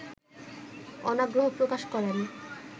অনাগ্রহ প্রকাশ করেন